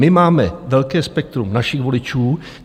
My máme velké spektrum našich voličů.